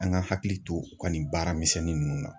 An ka hakili to u ka nin baaramisɛnnin ninnu na.